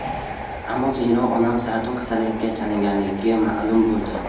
Ammo keyinroq onam saraton kasalligiga chalinganligi ma’lum bo‘ldi.